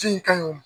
Ji in ka ɲi